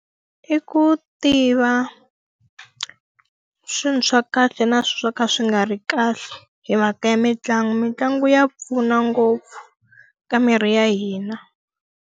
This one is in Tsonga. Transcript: I ku tiva swilo swa kahle na swo ka swi nga ri kahle, hi mhaka ya mitlangu. Mitlangu ya pfuna ngopfu ka miri ya hina.